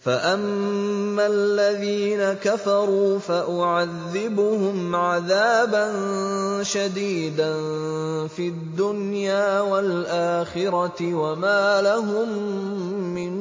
فَأَمَّا الَّذِينَ كَفَرُوا فَأُعَذِّبُهُمْ عَذَابًا شَدِيدًا فِي الدُّنْيَا وَالْآخِرَةِ وَمَا لَهُم مِّن